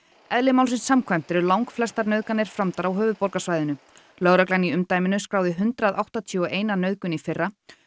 eðli málsins samkvæmt eru langflestar nauðganir framdar á höfuðborgarsvæðinu lögreglan í umdæminu skráði hundrað áttatíu og ein nauðgun í fyrra